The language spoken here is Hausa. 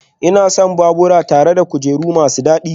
Ina son babura tare da kujeru masu dadi